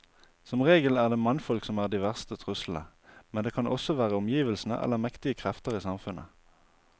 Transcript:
Som regel er det mannfolk som er de verste truslene, men det kan også være omgivelsene eller mektige krefter i samfunnet.